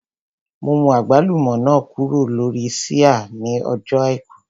Mo mú àgbálùmọ́ náà kúrò lórí ṣíà ní ọjọ́ àìkú